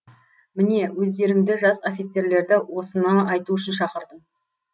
міне өздеріңді жас офицерлерді осыны айту үшін шақырдым